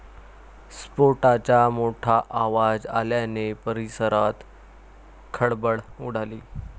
स्फोटाचा मोठा आवाज आल्याने परिसरात खळबळ उडाली.